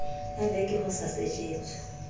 a veke ho sa sejetswe